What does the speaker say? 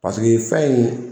fɛn in